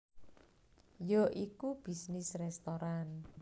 Ya iku bisnis restoran